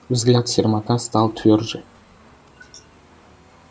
взгляд сермака стал твёрже